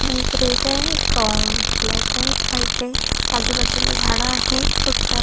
एक रेडय एक अम ब्लॅक आहे व्हाइटय आजूबाजूला झाड आहेत खुप सारी --